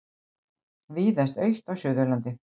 Víðast autt á Suðurlandi